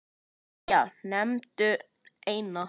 Jæja, nefndu eina